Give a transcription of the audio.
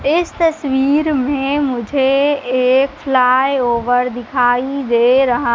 इस तस्वीर में मुझे एक फ्लाय ओवर दिखाई दे रहा--